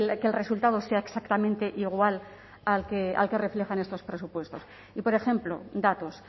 que el resultado sea exactamente igual al que reflejan estos presupuestos y por ejemplo datos